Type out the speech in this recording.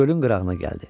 Gölün qırağına gəldi.